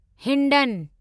Hindon